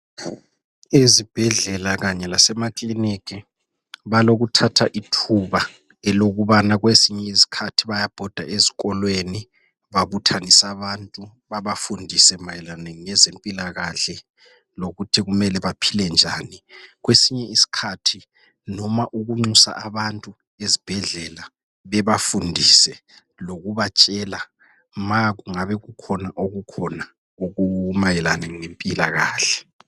Ezibhedlela kanye lasema clinic, balokuthatha ithuba elokubana kwezinye isikhathi bayabhoda ezikolweni babuthanise abantu. Babafundise mayelana ngezempilakahle lokuthi kumele baphile njani. Kwesinye isikhathi noma ukunxusa abantu ezibhedlela bebafundise lokubatshela makungabe kukhona okukhona okumayelana lempilakahle.